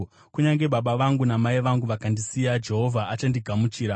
Kunyange baba vangu namai vangu vakandisiya, Jehovha achandigamuchira.